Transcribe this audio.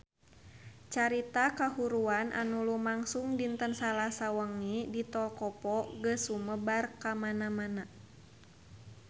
Carita kahuruan anu lumangsung dinten Salasa wengi di Tol Kopo geus sumebar kamana-mana